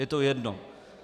Je to jedno.